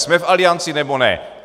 Jsme v Alianci, nebo ne?